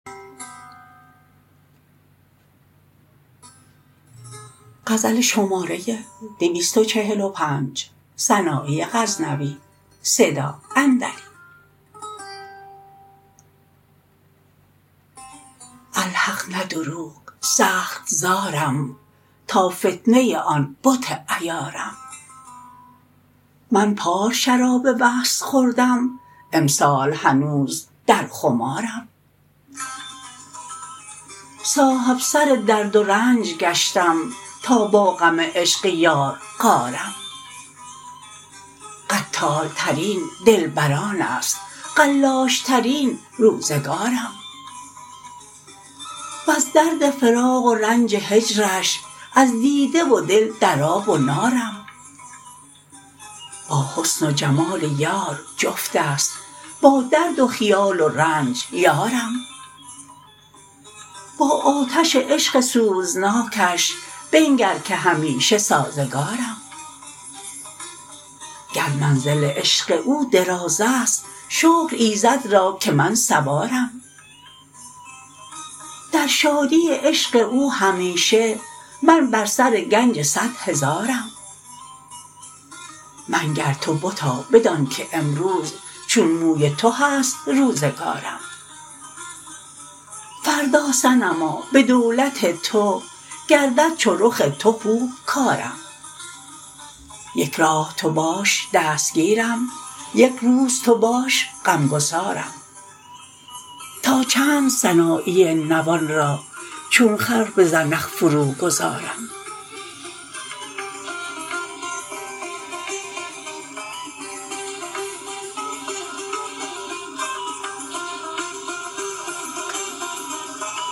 الحق نه دروغ سخت زارم تا فتنه آن بت عیارم من پار شراب وصل خوردم امسال هنوز در خمارم صاحب سر درد و رنج گشتم تا با غم عشق یار غارم قتال ترین دلبرانست قلاش ترین روزگارم وز درد فراق و رنج هجرش از دیده و دل در آب و نارم با حسن و جمال یار جفتست با درد و خیال و رنج یارم با آتش عشق سوزناکش بنگر که همیشه سازگارم گر منزل عشق او درازست شکر ایزد را که من سوارم در شادی عشق او همیشه من بر سر گنج صدهزارم منگر تو بتا بدانکه امروز چون موی تو هست روزگارم فردا صنما به دولت تو گردد چو رخ تو خوب کارم یک راه تو باش دستگیرم یک روز تو باش غمگسارم تا چند سنایی نوان را چون خر به زنخ فرو گذارم